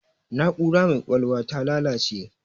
Na'ura mai ƙwaƴwalwar ta lalace